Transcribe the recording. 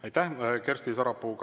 Aitäh, Kersti Sarapuu!